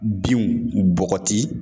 Binw bɔgɔti